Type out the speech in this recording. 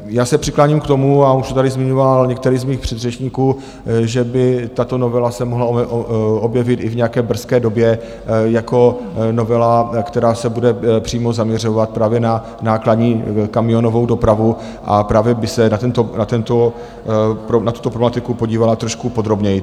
Já se přikláním k tomu, a už to tady zmiňoval některý z mých předřečníků, že by tato novela se mohla objevit i v nějaké brzké době jako novela, která se bude přímo zaměřovat právě na nákladní kamionovou dopravu a právě by se na tuto problematiku podívala trošku podrobněji.